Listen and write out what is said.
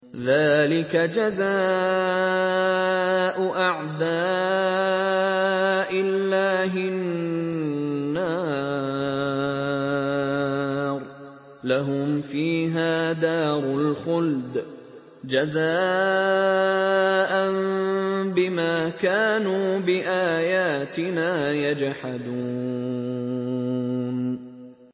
ذَٰلِكَ جَزَاءُ أَعْدَاءِ اللَّهِ النَّارُ ۖ لَهُمْ فِيهَا دَارُ الْخُلْدِ ۖ جَزَاءً بِمَا كَانُوا بِآيَاتِنَا يَجْحَدُونَ